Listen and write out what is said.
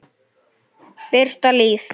Birta Líf.